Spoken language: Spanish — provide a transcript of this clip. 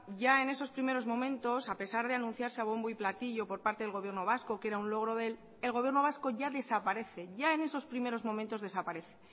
ya en estos primero momentos a pesar de anunciarse bombo y platillo por parte del gobierno vasco que era un logro de él el gobierno vasco ya desaparece ya en esos primeros momentos desaparece